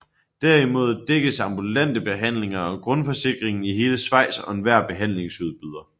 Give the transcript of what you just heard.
Derimod dækkes ambulante behandlinger af grundforsikringen i hele Schweiz og enhver behandlingsudbyder